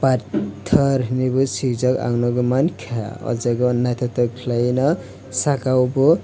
panthor hinui bo swijak ang nuguimankha oh jaga naithotok khlaiuino saka o bo.